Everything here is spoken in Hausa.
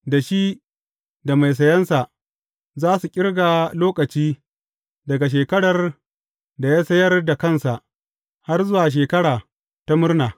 Da shi da mai sayansa, za su ƙirga lokaci daga shekarar da ya sayar da kansa har zuwa Shekara ta Murna.